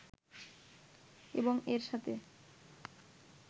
এবং এর সাথে